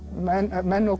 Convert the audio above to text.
menn og